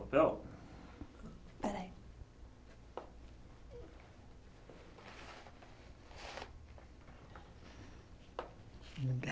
Peraí